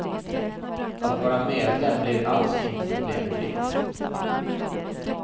Att vara medlem blir alls inte problemfritt.